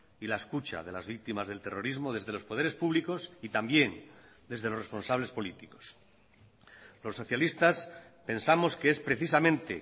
y la escucha de las víctimas del terrorismo desde los poderes públicos y también desde los responsables políticos los socialistas pensamos que es precisamente